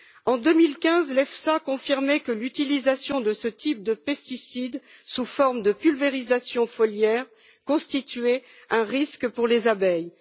En 2015, l'EFSA confirmait que l'utilisation de ce type de pesticides sous forme de pulvérisation foliaire constituait un risque pour les abeilles.